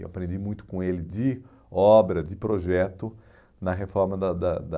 Eu aprendi muito com ele de obra, de projeto na reforma da da da